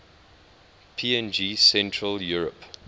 png central europe